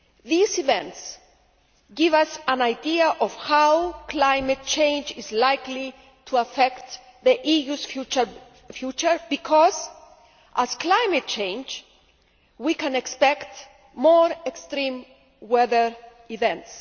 These events give us an idea of how climate change is likely to affect the EU's future because, as the climate changes, we can expect more extreme weather events.